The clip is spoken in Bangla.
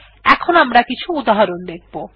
এখন আমরা কিছু উদাহরণ দেখব